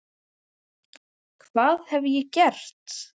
Hvað hef ég gert?